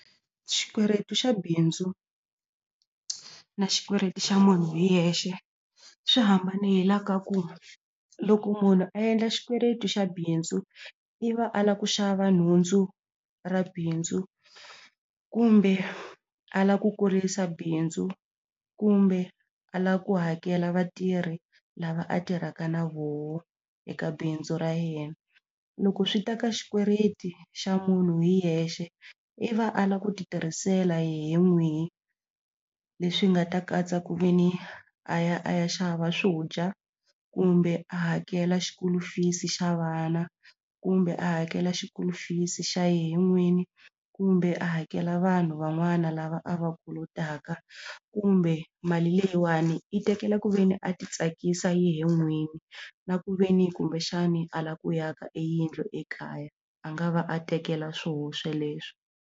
Xikweleti xa bindzu na xikweleti xa munhu hi yexe swi hambanile hi laha ka ku loko munhu a endla xikweleti xa bindzu i va a lava ku xava nhundzu ra bindzu kumbe a lava ku kurisa bindzu kumbe a lava ku hakela vatirhi lava a tirhaka na voho eka bindzu ra yena loko swi ta ka xikweleti xa munhu hi yexe i va a lava ku ti tirhisela yehe n'wini leswi nga ta katsa ku ve ni a ya a ya xava swo dya kumbe a hakela school-u fees-i xa vana kumbe a hakela school-u fees xa yehe n'winyi kumbe a hakela vanhu van'wana lava a va kolotaka kumbe mali leyiwani i tekela ku ve ni a ti tsakisa yehe n'winyi na ku ve ni kumbexani a lava ku aka e yindlu ekaya a nga va a tekela swoho leswi.